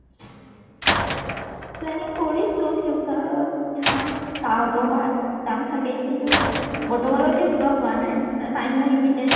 planning কৰিছো future ত চাম যাব পাৰোঁ । কাম থাকেই কিন্ত বৰ্তমানলৈকে যোৱা হোৱা নাই মানে time উ নিমিলে